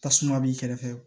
Tasuma b'i kɛrɛfɛ